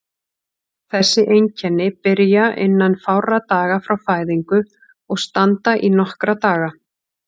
Þessi einkenni byrja innan fárra daga frá fæðingu og standa í nokkra daga.